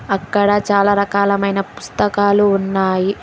అక్కడ చాలా రకాలమైన పుస్తకాలు ఉన్నాయి.